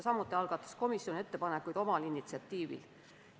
Samuti tegi komisjon ettepanekuid oma initsiatiivil.